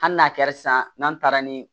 Hali n'a kɛra sisan n'an taara ni